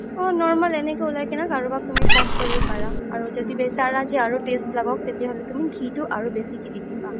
normal এনেকে উলাই কিনে কাৰোবাক তুমি serve কৰিব পাৰা আৰু বিচাৰা যে আৰু taste লাগাক তেতিয়া হ'লে তুমি ঘিতো আৰু বেচিকে দি দিবা